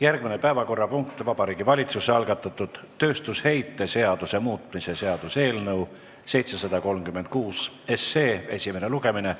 Järgmine päevakorrapunkt: Vabariigi Valitsuse algatatud tööstusheite seaduse muutmise seaduse eelnõu 736 esimene lugemine.